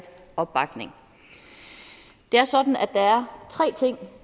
opbakning det er sådan at der er tre ting